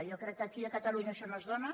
jo crec que aquí a catalunya això no es dóna